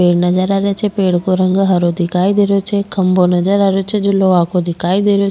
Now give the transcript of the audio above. पेड़ नजर आ रेहो छे पेड़ को रंग हरो दिखाई दे रेहो छे खम्भों नजर आ रेहो छे जो लोहा की दिखाई दे --